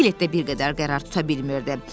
Piglet də bir qədər qərar tuta bilmirdi.